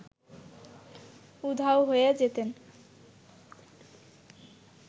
উধাও হয়ে যেতেন